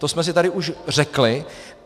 To jsme si tady už řekli.